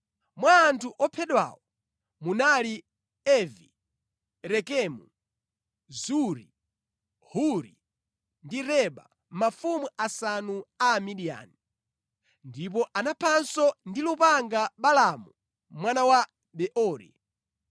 Mwa anthu ophedwawo munali Evi, Rekemu, Zuri, Huri ndi Reba, mafumu asanu a Amidiyani. Ndipo anaphanso ndi lupanga Balaamu mwana wa Beori.